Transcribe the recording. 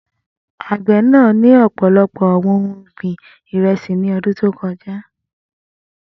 Agbẹ naa ni ọpọlọpọ awọn ohun ọgbin iresi ni ọdun to kọja.